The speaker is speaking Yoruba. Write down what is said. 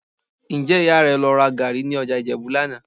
Ǹjẹ́ Ìyá rẹ lọ ra gàárì ní ọjà Ìjẹ̀bú lánàá?